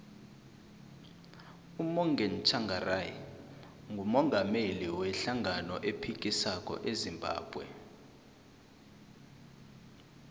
umorgan tshangari ngumungameli we hlangano ephikisako ezimbabwe